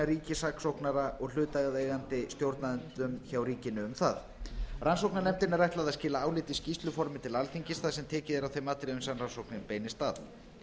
ríkissaksóknara og hlutaðeigandi stjórnendum hjá ríkinu um það rannsóknarnefndinni er ætlað að skila áliti í skýrsluformi til alþingis þar sem tekið er á þeim atriðum er rannsóknin beinist að